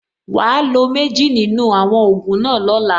Wàá lo méjì nínú àwọn ògùn náà lọ́la.